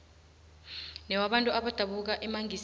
newabantu abadabuka emangisini